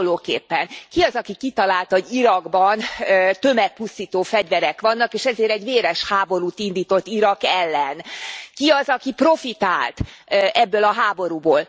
Hasonlóképpen ki az, aki kitalálta, hogy Irakban tömegpusztító fegyverek vannak és ezért egy véres háborút indított Irak ellen? Ki az, aki profitált ebből a háborúból?